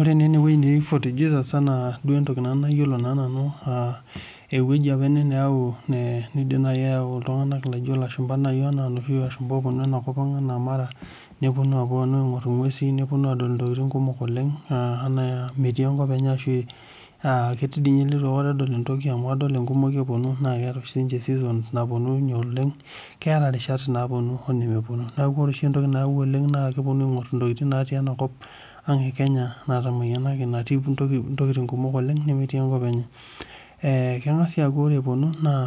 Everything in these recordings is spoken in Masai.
Ore naa enewuei neji fort jesus anaa duo entoki nayiolo naa nanu aa ewueji opa ene neyau niidim nai ayau iltung'anak laijo ilashumba nai enaa iloshi oopuonu enakop ang' enaa mara nepuonu aing'ur ingwesi nepuonu adol intokiting kumok oleng enaa metii enkop enye aanaa metii dii ninye enkop enye ileitu aikata edol entoki adol ingumoi epuonu naa eeta oshi ninje sisons napuonunye oleng Keeta irishat naapuonu onemepuonu, neeku ore oshi entoki nayau oleng naa kepuonu aingur intokiting natii enakop ang e Kenya natamayianaki natii intokiting kumok oleng nemetii enkop enye Keng'as siia aaku ore epuonu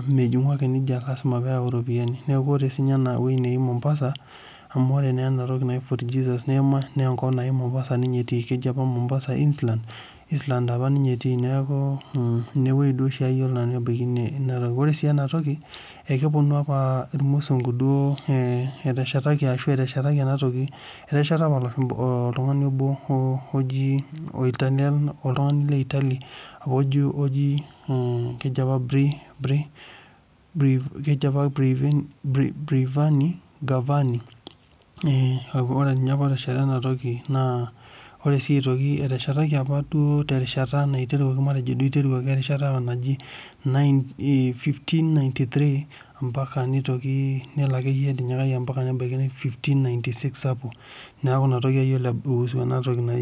mejingu ake nija lasima peeyau iropiyiani Ore siininye ewuei neji Mombasa amu ore naa enatoki naji fort jesus naa enkop naji Mombasa ninye etii Mombasa Eastland apa ninye etii neeku inewei duo oshi ayiolo nanu ebaiki Ore sii enatoki naa epuonu opa ilmusungu duo eteshetaki enatoki , etesheta opa oltung'ani obo oji oitaliono oltung'ani le Italy apa oji Bravani naa ninye opa otesheta ena toki naa ore sii aitoki eteshetaki apa duo terishata matejo duo eiteruaki erishata naji 1593 ompaka nitoki nelo akeyie etinyikayie ometabaiki 1596 niaku inatoki ayiolo naihusu enatoki